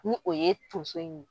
Ni o ye tonso in ye